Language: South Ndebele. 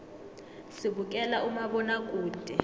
sibukela umabonakude